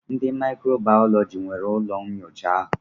Ndị mikro Baalọji nwere ụlọ nnyocha ahụ.